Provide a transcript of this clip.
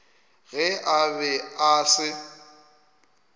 ge a be a se